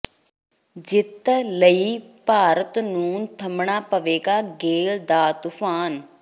ਜਿੱਤ ਲਈ ਭਾਰਤ ਨੂੰ ਥੰਮਣਾ ਪਵੇਗਾ ਗੇਲ ਦਾ ਤੂਫ਼ਾਨ